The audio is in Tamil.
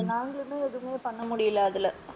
நாங்களுமே எதுமே பண்ண முடியல அதுல.